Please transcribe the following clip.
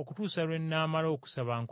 okutuusa lwe nnaamala okusaba nkomewo.”